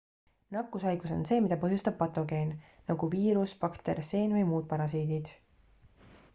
nakkushaigus on see mida põhjustab patogeen nagu viirus bakter seen või muud parasiidid